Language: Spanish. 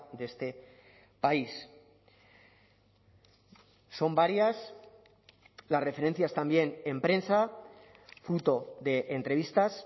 de este país son varias las referencias también en prensa fruto de entrevistas